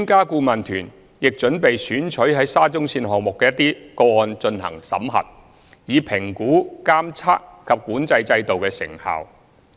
顧問團亦準備選取在沙中線項目的一些個案進行審核，以評估監測及管制制度的成效。